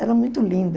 era muito linda.